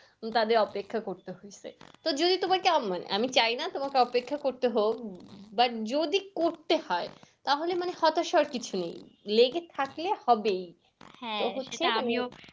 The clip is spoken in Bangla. তাদের অপেক্ষা করতে হয়েছে। যদি তোমার কেমন হয়, আমি চাই না তোমাকে অপেক্ষা করতে হোক। বা যদি করতে হয় তাহলে মানে হতাশার কিছু নেই। লেগে থাকলে হবেই হ্যাঁ সেটা আমিও